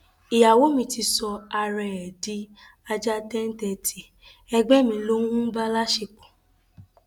ìyàwó mi ti sọ ara ẹ di ajá tẹńtẹǹtì ẹgbẹ mi ló ń bá a láṣepọ